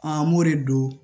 An b'o de don